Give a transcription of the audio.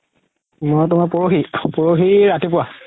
মই তুমাৰ পৰহি, পৰহি ৰাতিপুৱা